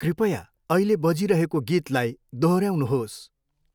कृपया अहिले बजिरहेको गीतलाई दोहोऱ्याउनुहोस्।